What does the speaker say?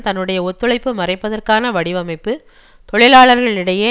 தன்னுடைய ஒத்துழைப்பு மறைப்பதற்கான வடிவமைப்பு தொழிலாளர்களிடையே